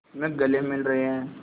में गले मिल रहे हैं